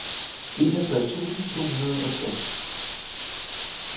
enogtres tusind to hundrede og tres